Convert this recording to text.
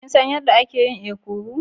Kin san yadda ake yin ekuru?